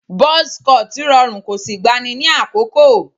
Buzz cut rọrùn kò sì gbani ní àkókò